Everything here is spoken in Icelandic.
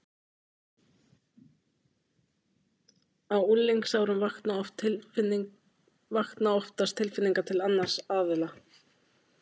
Á unglingsárunum vakna oftast tilfinningar til annars aðila.